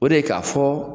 O de ye k'a fɔ